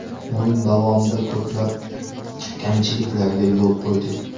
O‘yin davomida ko‘plab kamchiliklarga yo‘l qo‘ydik.